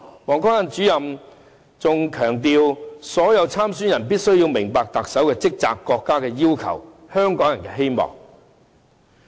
王光亞主任還強調所有參選人必須明白特首的職責、國家的要求及香港人的希望。